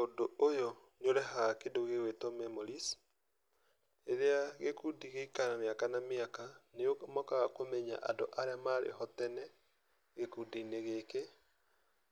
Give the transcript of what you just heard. Ũndũ ũyũ nĩ ũrehaga kĩndũ gĩgwĩtwo memories, rĩrĩa gĩkundi gĩikara mĩaka na mĩaka, nĩmokoga kũmenya andũ arĩa marĩho tene gĩkundi-inĩ gĩkĩ